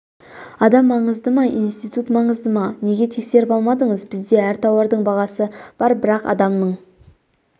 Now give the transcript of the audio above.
адам маңызды ма институт маңызды ма неге тексеріп алмадыңыз бізде әр тауардың бағасы бар бірақ адамның